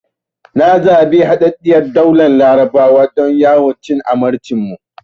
Na zabi Haɗaɗɗiyar Daular Larabawa don yawon cin amarcin mu.